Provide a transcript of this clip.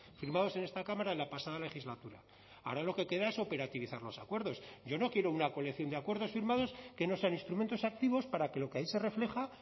firmados en esta cámara en la pasada legislatura ahora lo que queda es operativizar los acuerdos yo no quiero una colección de acuerdos firmados que no sean instrumentos activos para que lo que ahí se refleja